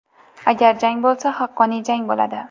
Agar jang bo‘lsa haqqoniy jang bo‘ladi.